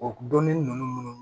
O dɔnni ninnu munnu